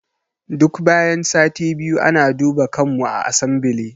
Duk bayan sati biyu ana duba kanmu a asambile